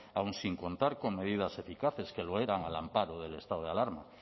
aun sin contar con medidas eficaces que lo eran al amparo del estado de alarma